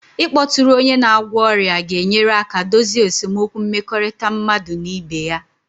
Ịkpọtụrụ onye na-agwọ ọrịa ga-enyere aka dozie esemokwu mmekọrịta mmadụ na ibe ya